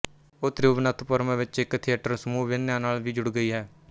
ਉਹ ਤਿਰੂਵਨਥਪੁਰਮ ਵਿੱਚ ਇੱਕ ਥੀਏਟਰ ਸਮੂਹ ਅਭਿਨਯਾ ਨਾਲ ਵੀ ਜੁੜ ਗਈ ਹੈ